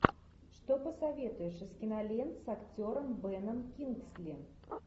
что посоветуешь из кинолент с актером беном кингсли